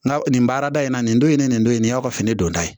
Nka nin baarada in na nin don in ye nin don in de y'aw ka fini don ta ye